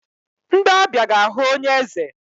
Ndị ọbịa ga-ahụ onye eze.